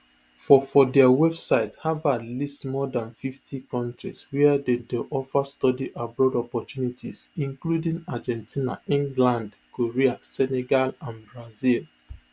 for for dia website harvardlist more dan fifty kontrieswia dem dey offer study abroad opportunities including argentina england korea senegal and brazil